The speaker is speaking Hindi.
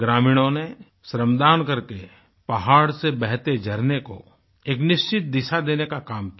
ग्रामीणों ने श्रम दान करके पहाड़ से बहते झरने कोएक निश्चित दिशा देने का काम किया